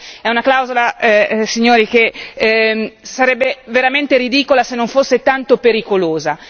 È una clausola, signori, che sarebbe veramente ridicola se non fosse tanto pericolosa.